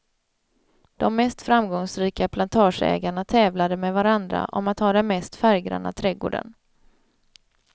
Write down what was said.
De mest framgångsrika plantageägarna tävlade med varandra om att ha den mest färggranna trädgården.